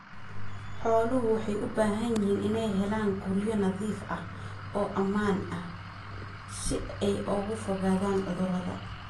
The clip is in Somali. Xooluhu waxay u baahan yihiin inay helaan guryo nadiif ah oo ammaan ah si ay uga fogaadaan cudurrada.